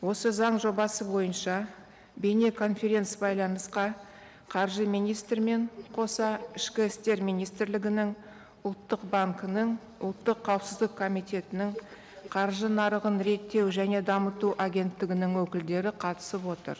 осы заң жобасы бойынша бейнеконференц байланысқа қаржы министрімен қоса ішкі істер министрлігінің ұлттық банкінің ұлттық қауіпсіздік комитетінің қаржы нарығын реттеу және дамыту агенттігінің өкілдері қатысып отыр